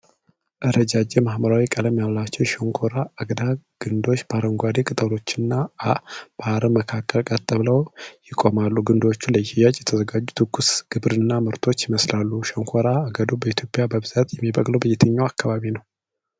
ረጃጅም እና ሐምራዊ ቀለም ያላቸው የሸንኮራ አገዳ ግንዶች በአረንጓዴ ቅጠሎችና በአረም መካከል ቀጥ ብለው ይቆማሉ። ግንዶቹ ለሽያጭ የተዘጋጁ ትኩስ ግብርና ምርቶች ይመስላሉ። ሸንኮራ አገዳው በኢትዮጵያ በብዛት የሚበቅለው የትኛው አካባቢ ነው?